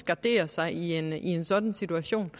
gardere sig i en en sådan situation